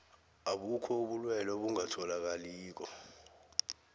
abukho ubulwelwe obungatholakaliko